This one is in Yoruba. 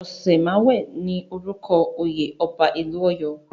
Òsemàwé ni orúkọ oyè ọba ìlú Ọ̀yọ́.